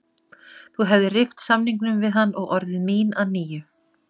Þú hefðir rift samningnum við hann og orðið mín að nýju.